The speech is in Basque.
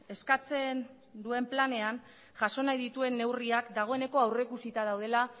eskatzen duen planean jaso nahi dituen neurriak dagoeneko aurrikusita daudela